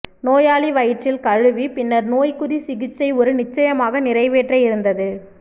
நோயாளி வயிற்றில் கழுவி பின்னர் நோய்க் குறி சிகிச்சை ஒரு நிச்சயமாக நிறைவேற்ற இருந்தது